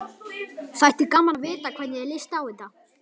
Þætti gaman að vita hvernig þér líst á þetta?